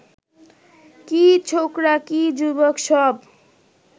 কী ছোকরা কী যুবক, সব